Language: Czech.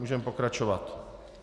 Můžeme pokračovat.